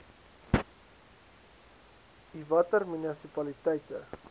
i watter munisipaliteite